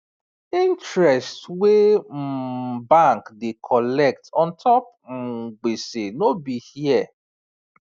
interest wey um bank da colect untop um gbese no be here